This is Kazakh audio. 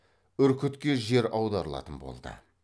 үркітке жер аударылатын болды